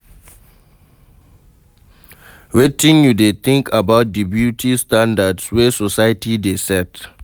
Wetin you dey think about di beauty standards wey society dey set?